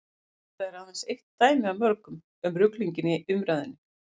þetta er aðeins eitt dæmi af mörgum um ruglinginn í umræðunni